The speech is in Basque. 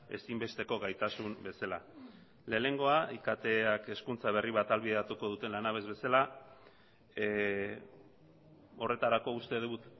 ezinbesteko gaitasun bezala lehenengoa iktak hezkuntza berri bat ahalbideratuko duten lanabes bezala horretarako uste dut